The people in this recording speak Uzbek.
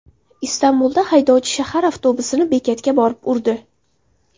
Istanbulda haydovchi shahar avtobusini bekatga borib urdi.